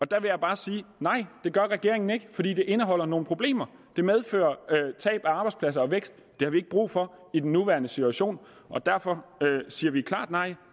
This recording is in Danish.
der vil jeg bare sige at det gør regeringen ikke fordi det indeholder nogle problemer det medfører tab af arbejdspladser og vækst det har vi ikke brug for i den nuværende situation og derfor siger vi klart nej